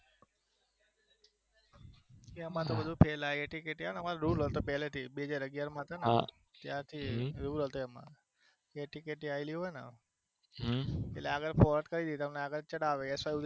એટલે અમારે તો બધું પેલા લખે પેલે થી AT KT હોય ને બે હજાર અગિયારમાં હતો ત્યારથી rule હતો AT KT આવેલી હોયને એટલે આગળ વાત કરીએ તો અમને આગળ ચઢાવે